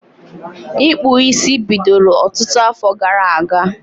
Ịkpụ isi bidoro ọtụtụ afọ gara aga